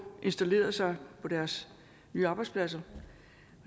installeret sig på deres nye arbejdspladser